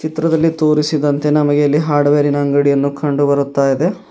ಚಿತ್ರದಲ್ಲಿ ತೋರಿಸಿದಂತೆ ನಮಗೆ ಎಲ್ಲಿ ಹಾರ್ಡ್ವೇರ್ ಇನ ಅಂಗಡಿಯನ್ನು ಕಂಡುಬರುತ್ತಯಿದೆ.